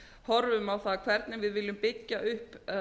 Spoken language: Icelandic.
horfum á það hvernig við viljum byggja upp